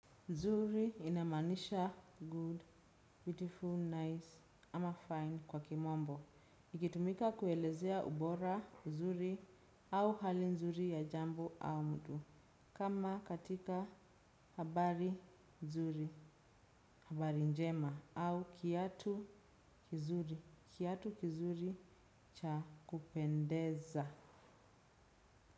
Zuri inamaanisha good, beautiful, nice ama fine kwa kimombo. Ikitumika kuelezea ubora zuri au hali nzuri ya jambo au mtu. Kama katika habari nzuri, habari njema au kiatu kizuri, kiatu kizuri cha kupendeza.